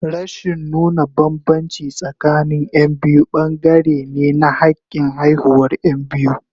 Rashin nuna bambanci tsakanin Yan biyu bangare ne na hakin haihuwar Yan biyu.